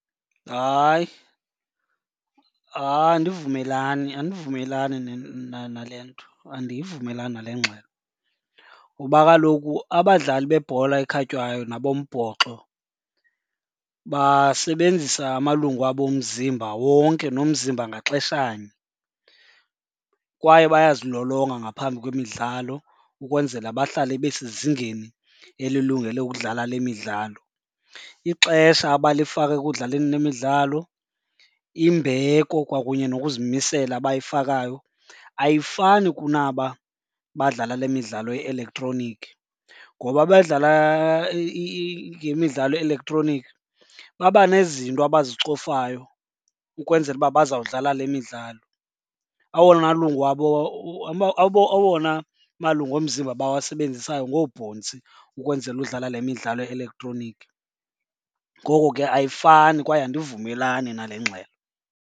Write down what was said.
Hayi, hayi andivumelani, andivumelani nale nto. Andivumelani nale ngxelo ngoba kaloku abadlali bebhola ekhatywayo nabombhoxo basebenzisa amalungu abo omzimba wonke nomzimba ngaxeshanye kwaye bayazilolonga ngaphambi kwemidlalo ukwenzela bahlale besezingeni elilungele ukudlala le midlalo. Ixesha abalifaka ekudlaleni le midlalo, imbeko kwakunye nokuzimisela abayifakayo ayifani kunaba badlala le midlalo ye-elektroniki. Ngoba abadlala le midlalo ye-elektroniki baba nezinto abazicofayo ukwenzela uba bazawudlala le midlalo. Awona malungu awona malungu omzimba abawasebenzisayo ngoobhontsi ukwenzela udlala le midlalo ye-elektroniki, ngoko ke ayifani kwaye andivumelani nale ngxelo.